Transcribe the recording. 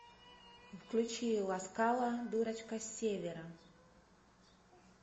включи ласкала дурочка с севера